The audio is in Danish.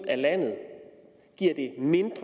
landet